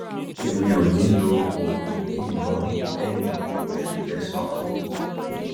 èmi ò ní lo oògùn yìí mọ́ lẹ́yìn oṣù kẹsàn-án